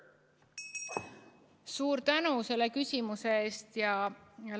Suur tänu selle küsimuse eest!